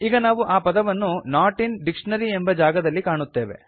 ಈಗ ನಾವು ಆ ಪದವನ್ನು ನಾಟ್ ಇನ್ ಡಿಕ್ಷನರಿ ಎಂಬ ಜಾಗದಲ್ಲಿ ಕಾಣುತ್ತೇವೆ